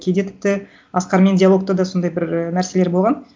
кейде тіпті асқармен диалогта да сондай бір і нәрселер болған